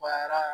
Baara